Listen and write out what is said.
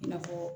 I n'a fɔ